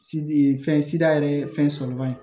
fɛn sida yɛrɛ ye fɛn sɔrɔ man di